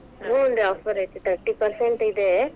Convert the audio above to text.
ಹುನ್ರೀ offer ಐತಿ, thirty percent ಇದೆ.